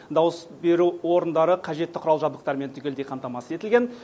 дауыс беру орындары қажетті құрал жабдықтармен түгелдей қамтамасыз етілген